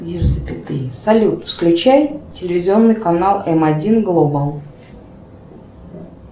салют включай телевизионный канал м один глобал